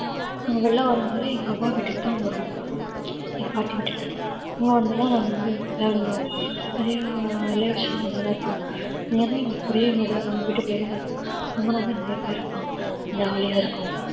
நாங்க வெளில வரணும்னாலே எங்க அவா வீட்டுக்கு தான் வருவோம் எங்க பாட்டி வீட்டுக்கு. அங்க வந்து தான் நாங்க வந்து விளையாடுவோம் நிறைய relation அங்க தான் இருக்காங்க. இங்கன்னா எங்களுக்கு ஒரே வீடா நாங்க வீட்டுக்குள்ளே தான் இருக்கணும் அங்க வந்து நிறைய பேர் இருப்பாங்க jolly யா இருக்கும்.